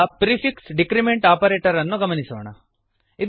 ಈಗ prefix decrement operator ಅನ್ನು ಗಮನಿಸೋಣ